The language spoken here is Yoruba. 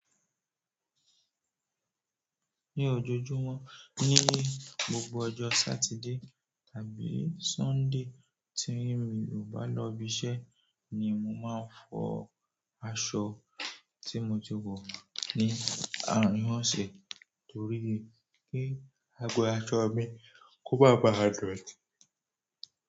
Ní ojoojúmọ́ ní, gbogbo ọjọ́ Saturday tàbí Sunday tí mi ò bá lọ ibiṣẹ́ ni mo máa ń fọ aṣọ tí mo ti wọ̀ ní àárín ọ̀sẹ̀ torí pé kí ago aṣọ mi kó bá ba a dọ̀tí.